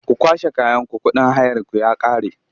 Ku kwashe kayanku kuɗin hayarku ya ƙare!